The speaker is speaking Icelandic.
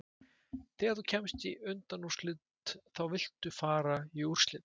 Þegar þú kemst í undanúrslitin þá viltu fara í úrslit.